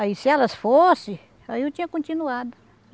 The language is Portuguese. Aí se elas fossem, aí eu tinha continuado.